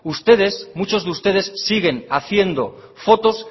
ustedes muchos de ustedes siguen haciendo fotos